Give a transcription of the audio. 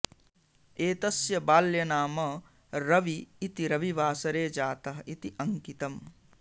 एतस्य बाल्यनाम रवि इति रविवासरे जातः इति अङ्कितम्